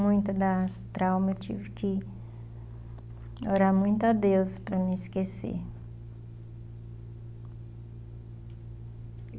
Muitas das traumas eu tive que orar muito a Deus para mim esquecer.